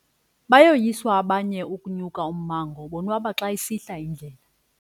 Bayoyiswa abanye ukunya ummango bonwaba xa isihla indlela.